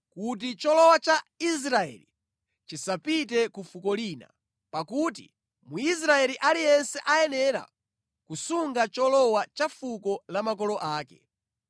kuti cholowa cha Israeli chisapite ku fuko lina, pakuti Mwisraeli aliyense ayenera kusunga cholowa cha fuko la makolo ake.